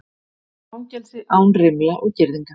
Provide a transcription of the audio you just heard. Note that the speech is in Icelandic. Fangelsi án rimla og girðinga